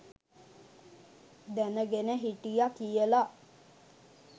දැනගෙන හිටිය කියල.